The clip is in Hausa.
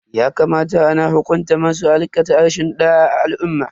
Ya kamata ana hukunta masu aikata rashin da'a a al'umma.